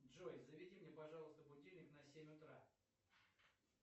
джой заведи мне пожалуйста будильник на семь утра